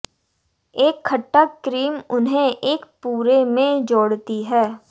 एक खट्टा क्रीम उन्हें एक पूरे में जोड़ती है